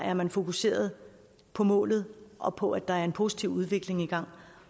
er man fokuseret på målet og på at der er en positiv udvikling i gang